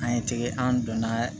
An ye tɛgɛ an donna